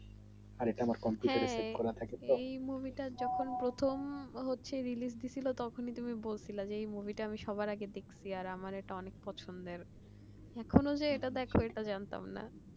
এই movie টা যখন প্রথম হচ্ছে release তখন তুমি বলছিল এভাবে আমি সবার আগে দেখছি আর আমার এটা অনেক পছন্দের এখন যেটা দেখো সেটা আমি জানতাম না